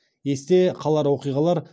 есте қалар оқиғалар